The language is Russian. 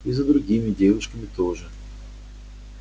и за другими девушками тоже